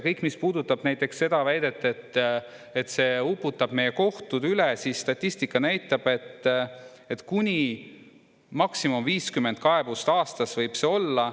Kõik, mis puudutab näiteks seda väidet, et see uputab meie kohtud üle – statistika näitab, et kuni maksimum 50 kaebust aastas võib see olla.